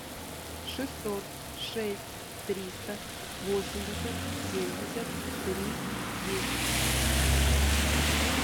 шестьсот шесть триста восемьдесят семьдесят три десять